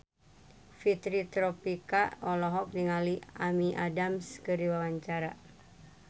Fitri Tropika olohok ningali Amy Adams keur diwawancara